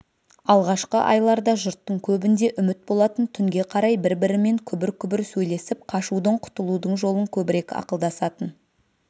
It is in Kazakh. алғашқы айларда жұрттың көбінде үміт болатын түнге қарай бір-бірімен күбір-күбір сөйлесіп қашудың құтылудың жолын көбірек ақылдасатын